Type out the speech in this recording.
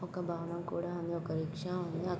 ఒక భవనం కూడా ఉంది.ఒక రిక్షా ఉంది. అక్--